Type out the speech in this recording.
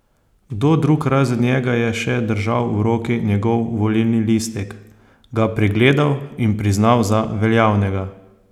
Kdo drug razen njega je še držal v roki njegov volilni listek, ga pregledal in priznal za veljavnega?